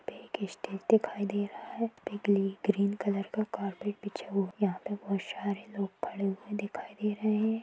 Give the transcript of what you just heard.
एक स्टेज दिखाई दे रहा है ग्रीन कलर का कारपेट बिछा हुआ यहाँ पे बहुत सारे लोग खड़े हुए दिखाई दे रहे है।